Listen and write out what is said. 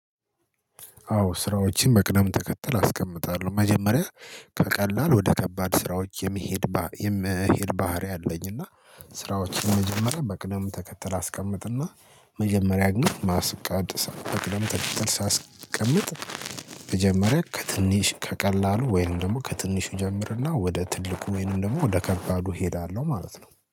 አዎ ስራዎችን በቅደም ተከተል አስቀምጣለሁ መጀመሪያ ከቀላል ወደ ከባድ ስራዎች የመሄድ የመሄድ ባህሪ አለኝ። እና ስራዎችን መጀመሪያ በቅደም ተከተል አስቀምጥና መጀመሪያ ግን ማስቀደስ በቅደም ተተል ሳስቀምጥ። መጀመሪያ ከትንሽ ከቀላሉ ወይንም ደግሞ ከትንሽ ይጀምርና ወደ ትልቁ ወይንም ደግሞ ወደ ከባዱ እሄዳለሁ ማለት ነው